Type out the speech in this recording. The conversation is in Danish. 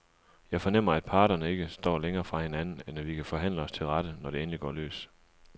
Jeg fornemmer, at parterne ikke står længere fra hinanden, end at vi kan forhandle os til rette, når det endelig går løs.